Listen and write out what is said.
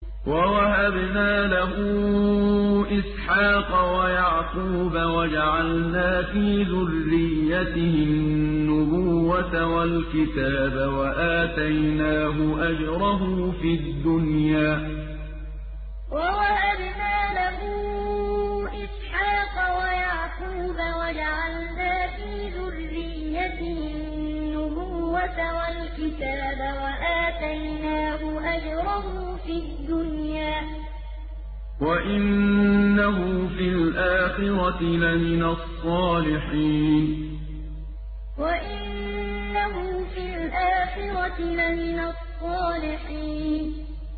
وَوَهَبْنَا لَهُ إِسْحَاقَ وَيَعْقُوبَ وَجَعَلْنَا فِي ذُرِّيَّتِهِ النُّبُوَّةَ وَالْكِتَابَ وَآتَيْنَاهُ أَجْرَهُ فِي الدُّنْيَا ۖ وَإِنَّهُ فِي الْآخِرَةِ لَمِنَ الصَّالِحِينَ وَوَهَبْنَا لَهُ إِسْحَاقَ وَيَعْقُوبَ وَجَعَلْنَا فِي ذُرِّيَّتِهِ النُّبُوَّةَ وَالْكِتَابَ وَآتَيْنَاهُ أَجْرَهُ فِي الدُّنْيَا ۖ وَإِنَّهُ فِي الْآخِرَةِ لَمِنَ الصَّالِحِينَ